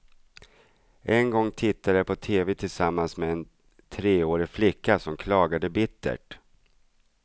En gång tittade jag på tv tillsammans med en treårig flicka som klagade bittert.